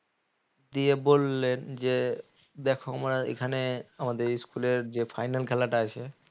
দিয়ে বললেন যে দেখো আমরা এখানে আমাদের school এর যে final খেলাটা আছে